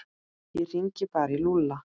Ég hringi bara í Lúlla.